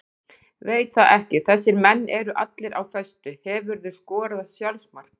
Veit það ekki þessir menn eru allir á föstu Hefurðu skorað sjálfsmark?